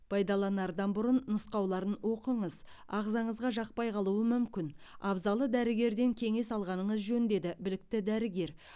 пайдаланардан бұрын нұсқауларын оқыңыз ағзаңызға жақпай қалуы мүмкін абзалы дәрігерден кеңес алғаныңыз жөн деді білікті дәрігер